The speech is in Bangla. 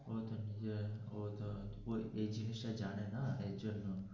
ওরা তো এই জিনিসটা জানে না এর জন্য.